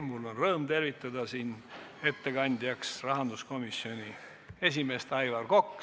Mul on rõõm tervitada siin ettekandjat, rahanduskomisjoni esimeest Aivar Kokka.